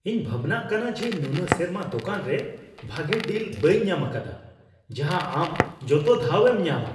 ᱤᱧ ᱵᱷᱟᱵᱽᱱᱟᱜ ᱠᱟᱱᱟ ᱡᱮ ᱱᱩᱱᱟᱹᱜ ᱥᱮᱨᱢᱟ ᱫᱳᱠᱟᱱ ᱨᱮ ᱵᱷᱟᱜᱮ ᱰᱤᱞ ᱵᱟᱹᱧ ᱧᱟᱢ ᱟᱠᱟᱫᱟ ᱡᱟᱦᱟᱸ ᱟᱢ ᱡᱚᱛᱚ ᱫᱷᱟᱣ ᱮᱢ ᱧᱟᱢᱼᱟ ᱾